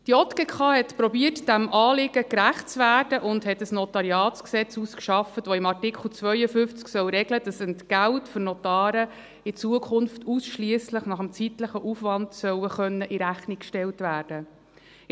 Die JGK hat versucht, diesem Anliegen gerecht zu werden, und hat ein NG ausgearbeitet, das im Artikel 52 regeln soll, dass Entgelte für Notare in Zukunft ausschliesslich nach dem zeitlichen Aufwand in Rechnung gestellt werden können sollen.